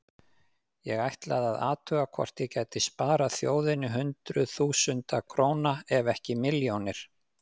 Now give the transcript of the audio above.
Ég ætlaði að athuga hvort ég gæti sparað þjóðinni hundruð þúsunda króna ef ekki milljónir.